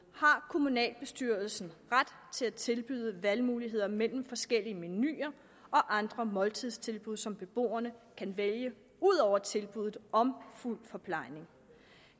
har kommunalbestyrelsen ret til at tilbyde valgmuligheder mellem forskellige menuer og andre måltidstilbud som beboerne kan vælge ud over tilbuddet om fuld forplejning